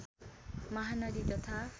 महानदी तथा